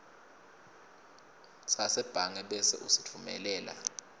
sasebhange bese usitfumelela